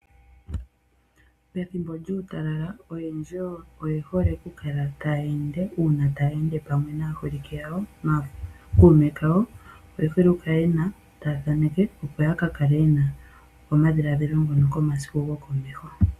Pethimbo lyuutalala oyendji oye hole okukala taya ende. Uuna taya ende pamwe naaholike yawo, nookuume kawo oye hole okukala yena omathano taya thaneke opo yaka kale yena omadhiladhilo ngono komasiku gokomeho.